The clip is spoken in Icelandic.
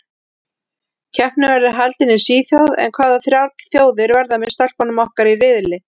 Keppnin verður haldin í Svíþjóð en hvaða þrjár þjóðir verða með stelpunum okkar í riðli?